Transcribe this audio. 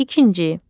İkinci.